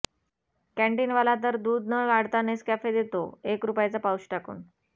canteen वाला तर दूध न गाळता नेसकॅफे देतो एक रुपयाचा पाऊच टाकून